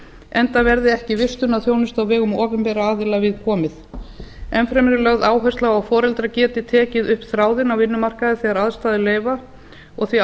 enda verði ekki vistunarþjónustu á vegum opinberra aðila viðkomið enn fremur er lögð áhersla á að foreldrar geti tekið upp þráðinn á vinnumarkaði þegar aðstæður leyfa og því